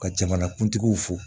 Ka jamanakuntigiw fo